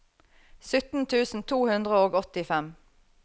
sytten tusen to hundre og åttifem